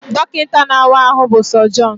Dọkịta na-awa ahụ bụ Sọjọnụ